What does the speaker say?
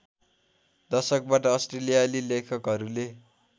दशकबाट अस्ट्रेलियाली लेखकहरूले